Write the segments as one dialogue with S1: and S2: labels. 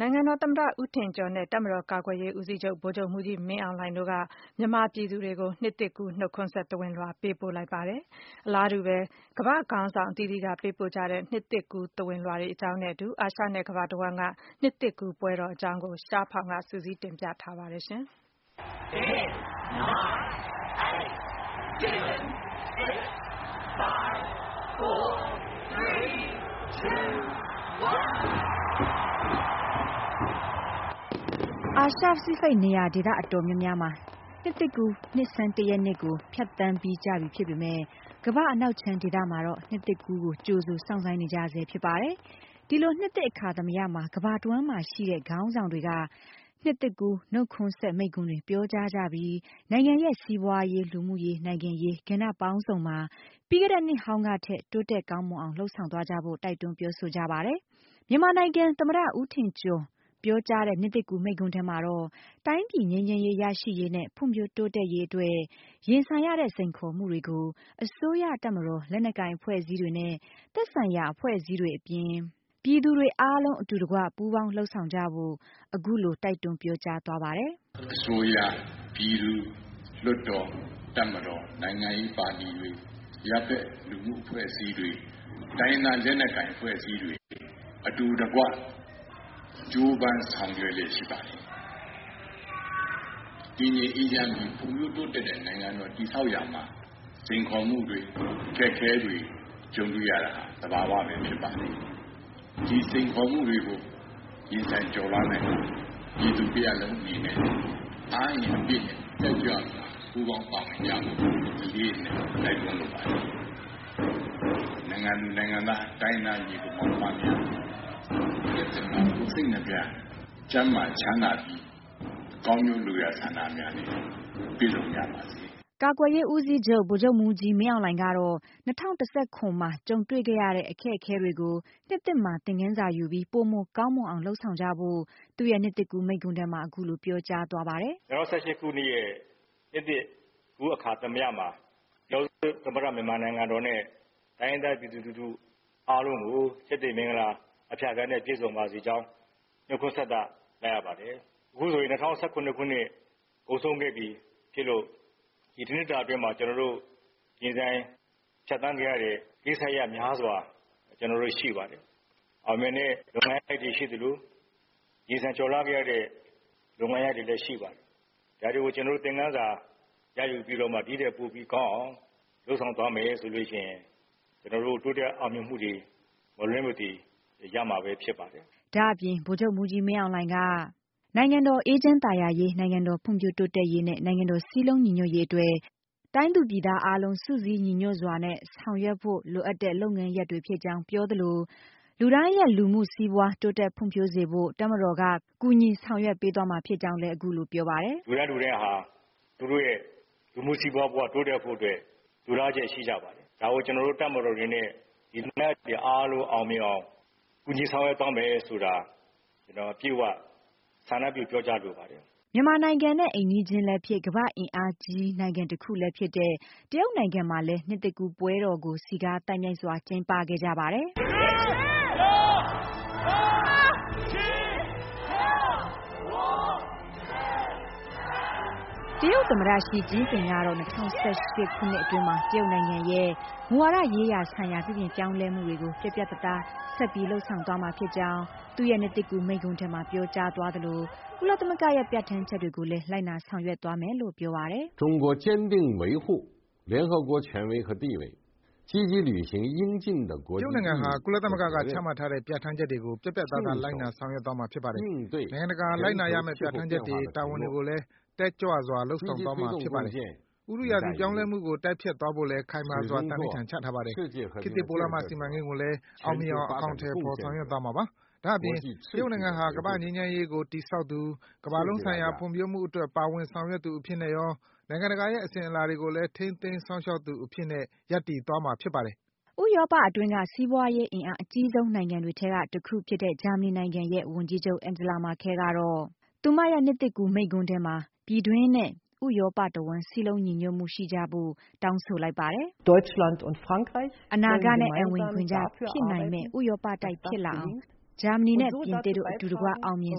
S1: နိုင်ငံတော်သမ္မတ ဦးထင်ကျော်နဲ့ ကာကွယ်ရေးဦးစီးချုပ် ဗိုလ်ချုပ်မှူးကြီး မင်းအောင်လှိုင်တို့က မြန်မာပြည်သူတွေကို နှစ်သစ်ကူး နှုတ်ခွန်းဆက် သဝဏ်လွှာ ပေးပို့လိုက်ပါတယ်။ အလားတူပဲ ကမ္ဘာ့ခေါင်းဆောင်တွေကလည်း နှစ်သစ်ကူး သဝဏ်လွှာတွေကို အသီးသီး ပေးပို့ခဲ့ကြပါတယ်။ အာရှ နဲ့ ကမ္ဘာတဝှမ်းက နှစ်သစ်ကူးပွဲတော်အကြောင်းကို ရှားဖောင် က စုစည်း တင်ပြထားပါတယ်။ အာရှ-ပစိဖိတ် နေရာဒေသ အတော်များများမှာ နှစ်သစ်ကူး နှစ်ဆန်း ၁ ရက်နေ့ကို ဖြတ်သန်းပြီး ကြပြီဖြစ်ပေမယ့် ကမ္ဘာ့ အနောက်ခြမ်းဒေသ မှာတော့ နှစ်သစ်ကူးကို ကြိုဆိုစောင့်ဆိုင်းနေကြရဆဲဖြစ်ပါတယ်။ ဒီလိုနှစ်သစ်အခါသမယမှာ ကမ္ဘာတဝှမ်းမှာရှိတဲ့ နိုင်ငံခေါင်းဆောင်တွေက နှစ်သစ်ကူး နှုတ်ခွန်းဆက် မိန့်ခွန်းတွေပြောကြား ကြပြီး နိုင်ငံရဲ့ စီးပွားရေး၊ လူမှုရေး၊ နိုင်ငံရေး ကဏ္ဍပေါင်းစုံမှာ ပြီးခဲ့နှစ်ဟောင်းကထက် တိုးတက်ကောင်းမွန်အောင် လုပ်ဆောင်သွားကြဖို့ တိုက်တွန်းပြောဆိုကြပါတယ်။ မြန်မာနိုင်ငံ သမ္မတ ဦးထင်ကျော် ပြောကြားတဲ့ နှစ်သစ်ကူး မိန့်ခွန်းထဲမှာတော့ တိုင်းပြည် ငြိမ်းချမ်းရေးရရှိရေးနဲ့ ဖွံ့ဖြိုးတိုးတက်ရေးအတွက် ရင်ဆိုင်နေရတဲ့ စိန်ခေါ်မှုတွေကို အစိုးရ၊ တပ်မတော်၊ လက်နက်ကိုင်အဖွဲ့အစည်းနဲ့ သက်ဆိုင်ရာအဖွဲ့အစည်းတွေအပြင် ပြည်သူတွေအားလုံး အတူတကွ ပူးပေါင်း လုပ်ဆောင်သွားကြဖို့ အခုလို တိုက်တွန်းပြောကြားသွားပါတယ်
S2: ။ " အစိုးရ၊ ပြည်သူ၊ လွှတ်တော်၊ တပ်မတော် နိုင်ငံရေးပါတီတွေ အရပ်ဖက် အဖွဲ့အစည်းတွေ တိုင်းရင်းသားလက်နက်ကိုင်အဖွဲ့အစည်းတွေ အတူတကွ ကြိုးပမ်းဆောင်ရွက်လျက်ရှိပါတယ်။ တည်ငြိမ်အေးချမ်းပြီး ဖွံ့ဖြိုးတိုးတက်တဲ့ နိုင်ငံတော် တည်ဆောက်ရမှာ စိန်ခေါ်မှုတွေ အကျပ်အတည်းတွေ ကြုံတွေ့ရတာ သဘာဝပဲဖြစ်ပါတယ်။ ဒီစိန်ခေါ်မှုတွေကို ရင်ဆိုင်ကျော်လွှားနိုင်ဖို့အတွက် ပြည်သူတရပ်လုံးအနေနဲ့ အားအင်အပြည့်နဲ့ တက်ကြွစွာ ပူးပေါင်းပါဝင်ကြဖို့ အလေးအနက် တိုက်တွန်းလိုပါတယ်။ နိုင်ငံသူနိုင်ငံသား တိုင်းရင်းသားညီအကိုမောင်နှမများ နှစ်သစ်မှာ ကိုယ်စိတ်နှစ်ဖြာ ကျန်းမာချမ်းသာကြပြီး ကောင်းကျိုးလိုရာဆန္ဒများနဲ့ပြည့်စုံကြပါစေ
S1: ။" ကာကွယ်ရေးဦးစီးချုပ် ဗိုလ်ချုပ်မှူးကြီး မင်းအောင်လှိုင်ကတော့ ၂၀၁၇ မှာ ကြုံတွေ့ခဲ့ရတဲ့ အတွေ့အကြုံတွေကို နှစ်သစ်မှာ သင်္ခန်းစာယူပြီး ပိုမိုကောင်းမွန်အောင် လုပ်ဆောင် သွားကြဖို့ သူ့ရဲ့ နှစ်သစ်ကူး မိန့်ခွန်းထဲမှာ အခုလို ပြောကြားသွားပါတယ်
S2: ။ " ၂၀၁၈ခုနှစ်ရဲ့ နှစ်သစ်ကူး အခါသမယမှာ ပြည်ထောင်စုသမ္မတနိုင်ငံတော်နဲ့ တိုင်းရင်းသားပြည်သူလူထု အားလုံးကို ကျက်သရေမင်္ဂလာအဖြာဖြာနဲ့ ပြည့်စုံပါစေကြောင်း နှုတ်ခွန်းဆက်သလိုက်ရပါတယ်။ အခုဆိုရင် ၂၀၁၇ခုနှစ် ကုန်ဆုံးခဲ့ပြီး ဖြစ်လို့ ဒီတစ်နှစ်တာအတွင်း ကျနော်တို့ ရင်ဆိုင်ဖြတ်သန်းခဲ့ရတဲ့ ကိစ္စရပ်များစွာ တွေရှိပါတယ် အောင်မြင်တဲ့လုပ်ငန်းတွေရှိသလို ရင်ဆိုင်ကျော်လွှားခဲ့ရတဲ့ လုပ်ငန်းရပ်တွေလည်းရှိပါတယ်။ ဒါတွေကို သင်္ခန်းစာရယူပြီးတော့မှ ဒီ့ထက်ပိုပြီးကောင်းအောင် လုပ်ဆောင်သွားမယ်ဆိုလို့ရှိရင် ကျနော်တို့ တိုးတက်အောင်မြင်မှုတွေ မလွဲမသွေ ရမှာပဲဖြစ်ပါတယ်
S1: ။" ဒါ့အပြင် ဗိုလ်ချုပ်မှူးကြီးမင်းအောင်လှိုင်က နိုင်ငံတော်အေးချမ်းသာယာရေး၊ နိုင်ငံတော်ဖွံ့ဖြိုးတိုးတက်ရေးနဲ့ နိုင်ငံတော် စည်းလုံး ညီညွှတ်ရေး အတွက် တိုင်းသူပြည်သားအားလုံး စုစည်းညီညွှတ်စွာနဲ့ဆောင်ရွက်ဖို့ လိုအပ်တဲ့ လုပ်ငန်းရပ်တွေဖြစ်ကြောင်း ပြောသလို လူတိုင်းရဲ့ လူမှုစီးပွားတိုးတက်ဖွံ့ဖြိုးစေဖို့ တပ်မတော်က ကူညီဆောင်ရွက်ပေးသွားမှာဖြစ်ကြောင်း လည်း အခုလို ပြောပါတယ်။
S2: " လူတိုင်း လူတိုင်းဟာ သူတို့ရဲ့ လူမှုစီးပွားဘဝ တိုးတက်ဖို့အတွက် လိုလားလျက် ရှိကြပါတယ် ဒါကို ကျနော်တို့ တပ်မတော်အနေနဲ့ ဒီလိုလားချက်တွေ အားလုံးအောင်မြင်အောင် ကူညီဆောင်ရွက်သွားမယ်ဆိုတာ ကျနော် အပြည့်အဝ ဆန္ဒပြုပြောကြားလိုပါတယ်
S1: ။" မြန်မာနိုင်ငံနဲ့ အိမ်နီးချင်းလည်းဖြစ်၊ ကမ္ဘာ့ အင်အားကြီးနိုင်ငံတခုလည်းဖြစ်တဲ့ တရုတ်နိုင်ငံမှာလည်း နှစ်သစ်ကူးပွဲတော်ကို စည်းကား သိုက်မြိုက်စွာကျင်းပခဲ့ကြပါတယ်။ တရုတ်သမ္မတ ရှီ ကျင်းပင် ကတော့ ၂၀၁၈ ခုနှစ်အတွင်းမှာ တရုတ်နိုင်ငံရဲ့ မူဝါဒရေးရာဆိုင်ရာ ပြုပြင်ပြောင်းလဲမှုတွေကို ပြတ်ပြတ် သားသား ဆက်ပြီး လုပ်ဆောင်သွားမှာဖြစ်ကြောင်း သူ့ရဲ့နှစ်သစ်ကူးမိန့်ခွန်းထဲမှာ ပြောကြာသွားသလို ကုလသမဂ္ဂရဲ့ ပြဋ္ဌာန်းချက်တွေကိုလည်း လိုက်နာဆောင်ရွက်သွားမယ်လို့ ပြောပါတယ်။
S2: “တရုတ်နိုင်ငံဟာ ကုလသမဂ္ဂက ချမှတ်တဲ့ ပြဋ္ဌာန်းချက်တွေကို ပြတ်ပြတ်သားသား လိုက်နာဆောင်ရွက်သွားမှာဖြစ်ပါတယ်။ နိုင်ငံတကာ လိုက်နာရမယ့် ပြဋ္ဌာန်းချက်တွေ၊ တာဝန်တွေကိုလည်း တက်ကြွစွာ လုပ်ဆောင်သွားမှာဖြစ်ပါတယ်။ ဥတုရာသီပြောင်းလဲမှု ကို တိုက်ဖျက်သွားဖို့လည်း ခိုင်မာစွာ သန္နိဋာန် ချထားပါတယ်။ ခေတ်သစ်ပိုးလမ်းမ စီမံကိန်းကိုလည်း အောင်မြင်အောင် အကောင်အထည်ဖော် ဆောင်ရွက်သွားမှာဖြစ်ပါတယ်။ ဒါ့အပြင် တရုတ်နိုင်ငံဟာ ကမ္ဘာ့ငြိမ်းချမ်းရေးကို တည်ဆောက်သူ၊ ကမ္ဘာလုံးဆိုင်ရာ ဖွံ့ဖြိုးမှုအတွက် ပါဝင်ဆောင်ရွက်သူအဖြစ်နဲ့ရော၊ နိုင်ငံတကာရဲ့ အစဉ်အလာတွေကိုလည်း ထိန်းသိမ်းစောင့်ရှောက် သွားမှာဖြစ်ပါတယ်
S1: ။” ဥရောပအတွင်းက စီးပွားရေး အင်အား အကြီးဆုံး နိုင်ငံတွေထဲက တခုဖြစ်တဲ့ ဂျာမနီနိုင်ငံရဲ့ ဝန်ကြီးချုပ် Angela Merkel ကတော့ သူမရဲ့ နှစ်သစ်ကူးမိန့်ခွန်းထဲမှာ ပြည်တွင်းနဲ့ ဥရောပတဝှမ်း စည်းလုံးညီညွတ်မှုရှိကြဖို့ တောင်းဆိုလိုက်ပါတယ်။ “အနာဂတ်နဲ့ အံဝင်ခွင်ကျဖြစ်နိုင်မယ့် ဥရောပတိုက်ဖြစ်လာအောင် ဂျာမနီနဲ့ ပြင်သစ်တို့ အတူတကွ အောင်မြင်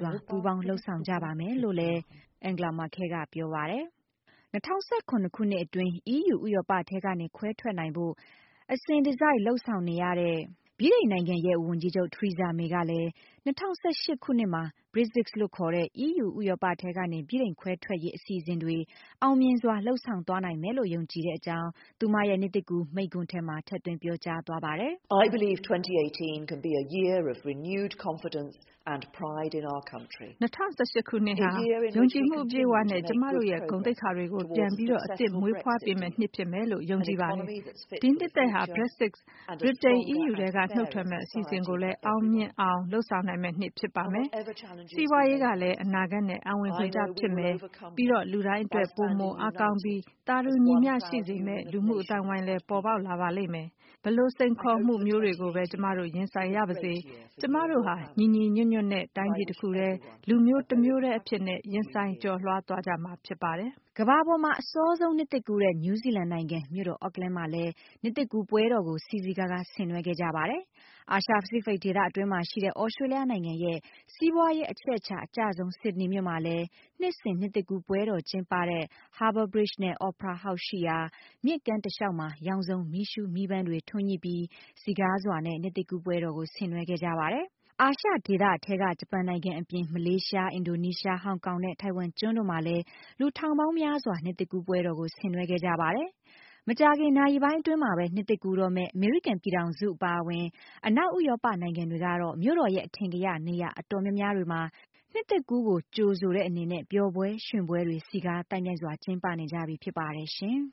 S1: စွာ ပူးပေါင်းလုပ်ဆောင်ကြပါမယ်။” ၂၀၁၇ ခုနှစ်အတွင်း အီးယူ ဥရောပထဲကနေ ခွဲထွက်နိုင်ဖို့ အစဉ်တစိုက် လုပ်ဆောင်နေရတဲ့ ဗြိတိန်နိုင်ငံရဲ့ ဝန်ကြီးချုပ် Theresa May ကလည်း ၂၀၁၈ ခုနှစ်မှာ Brexit လို့ခေါ်ထဲ အီးယူ ဥရောပထဲကနေ ဗြိတိန်ခွဲထွက်ရေးအစီအစဉ်တွေ အောင်မြင်စွာ လုပ်ဆောင်သွားနိုင်မယ်လို့ ယုံကြည်တဲ့အကြောင်း သူမရဲ့ နှစ်သစ်ကူး မိန့်ခွန်းထဲမှာ ထည့်သွင်းပြောကြားသွားပါတယ်။ “၂၀၁၈ ဟာ ယုံကြည်မှု ပြည့်ဝစွာနဲ့ ကျမတို့ရဲ့ ဂုဏ်သိက္ခာတွေကို ပြန်လည် အသစ် မွေးဖွားပေးမယ့် နှစ်ဖြစ်မယ်လို့ ကျမယုံကြည်ပါတယ်။ ဒီနှစ်သစ်ဟာ Brexit ဗြိတိန် အီးယူထဲက နုတ်ထွက်မယ့် အစီအစဉ်ကိုလည်း အောင်မြင်စွာ လုပ်ဆောင်နိုင်မယ့်နှစ် ဖြစ်ပါမယ်။ စီးပွားရေးဟာလည်း အနာဂတ်နဲ့ အံဝင်ခွင်ကျဖြစ်မယ်၊ ပြီးတော့ လူတိုင်းအတွက် ပိုမိုအားကောင်းပြီး သာတူညီမျှရှိစေမယ့် လူမှုအသိုင်းအဝိုင်းပေါ်ပေါက်လာပါမယ်။ ဘယ်လို စိန်ခေါ်မှုမျိုးတွေကိုပဲ ကျမတို့ ရင်ဆိုင်ရပါစေ ကျမတို့ဟာ ညီညွှတ်စွာနဲ့ တိုင်းပြည်တခုတည်း၊ လူမျိုးတမျိုးတည်းအဖြစ်နဲ့ ရင်ဆိုင် ကျော်လွှားသွားကြမှာဖြစ်ပါတယ်။” ကမ္ဘာပေါ်မှာ အစောဆုံးနှစ်သစ်ကူးတဲ့ နယူးဇီလန်နိုင်ငံ မြို့တော် Ackland မှာလည်း နှစ်သစ်ကူးပွဲတော်ကို စည်စည်ကားကား ဆင်နွှဲခဲ့ကြပါတယ်။ အာရှ - ပစိတ် ဒေသအတွင်းမှာရှိတဲ့ သြစတြေးလျနိုင်ငံရဲ့ စီးပွားရေး အချက်အချာအကျဆုံး ဆစ်ဒနီမြို့မှာလည်း နှစ်စဉ် နှစ်သစ်ကူး ပွဲတော် ကျင်းပတဲ့ Harbour Bridge နဲ့ Opera House ရှိရာ မြစ်ကမ်းတလျှောက်မှာ ရောင်စုံ မီးရှုး မီးပန်းတွေ ထွန်းညှိပြီး စည်ကားစွာနဲ့ နှစ်သစ်ကူးပွဲတော်ကို ဆင်နွှဲခဲ့ကြပါတယ်။ အာရှဒေသထဲက ဂျပန်နိုင်ငံအပြင် မလေးရှား၊ အင်ဒိုနီးရှား၊ ဟောင်ကောင်နဲ့ ထိုင်ဝမ်ကျွန်းတို့မှာလည်း လူထောင်ပေါင်းများစွာ နှစ်သစ်ကူးပွဲတော်ကို ဆင်နွှဲခဲ့ကြပါတယ်။ မကြာခင် နာရီပိုင်းအတွင်းမှာပဲ နှစ်သစ်ကူးတော့မယ့် အမေရိကန် ပြည်ထောင်စု အပါအဝင် အနောက် ဥရောပ နိုင်ငံတွေကတော့ မြို့တော်ရဲ့ အထင်ကရ နေရာအတော်များများတွေမှာ နှစ်သစ်ကူး ကို ကြိုဆိုတဲ့အနေနဲ့ ပျော်ပွဲရွှင်ပွဲတွေ စည်ကားသိုက်မြိုက်စွာ ကျင်းပနေကြပြီဖြစ်ပါတယ်ရှင်။